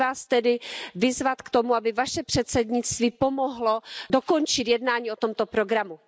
Chci Vás tedy vyzvat k tomu, aby Vaše předsednictví pomohlo dokončit jednání o tomto programu.